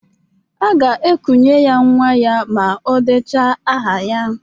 A ga-ekunye ya nwa ya ma odeche aha ya